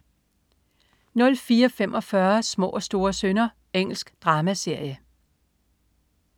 04.45 Små og store synder. Engelsk dramaserie